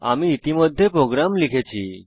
আমি ইতিমধ্যে প্রোগ্রাম লিখেছি